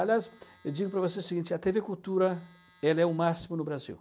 Aliás, eu digo para você o seguinte, a tê vê Cultura, ela é o máximo no Brasil.